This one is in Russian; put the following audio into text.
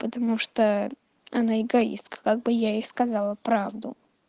потому что она эгоистка как бы я ей сказала правду